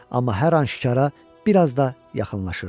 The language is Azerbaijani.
Amma hər an şikara bir az da yaxınlaşırdılar.